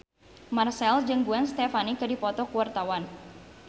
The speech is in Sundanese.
Marchell jeung Gwen Stefani keur dipoto ku wartawan